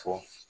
Fɔ